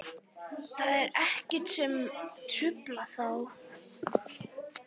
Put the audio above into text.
Það var ekkert sem truflaði þá.